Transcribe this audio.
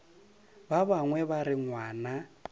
ba bangwe ba re ngwana